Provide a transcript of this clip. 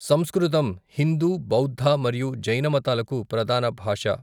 సంస్కృతం హిందూ బౌద్ధ మరియు జైన మతాలకు ప్రధాన భాష.